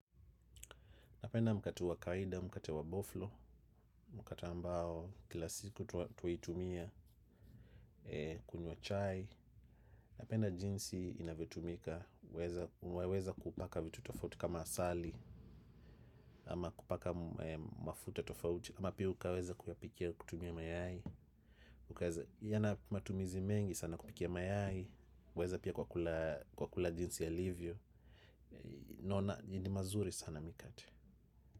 Napenda mkate wa kawaida mkate wa boflo, mkate ambao, kila siku tuwaitumia kunywa chai. Napenda jinsi inavyotumika, uwaweza kupaka vitu tofauti kama asali, ama kupaka mafuta tofauti, ama pia ukaweza kuyapikia kutumia mayai. Yana matumizi mengi sana kupikia mayai, uweza pia kwa kula jinsi alivyo. Naona, nili mazuri sana mikate.